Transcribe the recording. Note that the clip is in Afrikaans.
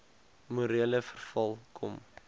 morele verval kom